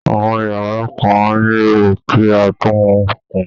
Àwọn yàrá kan á nílò kí á tún un kùn